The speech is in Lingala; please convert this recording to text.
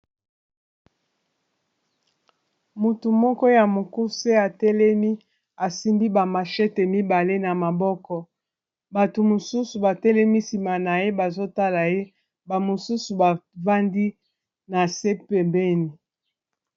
motu moko ya mokuse atelemi asimbi bamashete mibale na maboko bato mosusu batelemi nsima na ye bazotala ye bamosusu bafandi na se pembeni